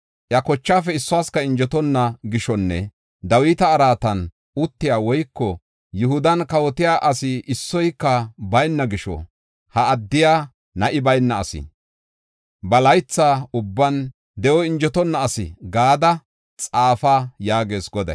“Iya kochaafe issuwasika injetonna gishonne Dawita araatan uttiya woyko Yihudan kawotiya asi issoyka bayna gisho, ha addiya, na7i bayna asi, ba laytha ubban de7oy injetonna asi” gada xaafa yaagees Goday.